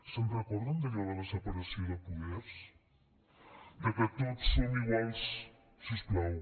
se’n recorden d’allò de la separació de poders de que tots som iguals si us plau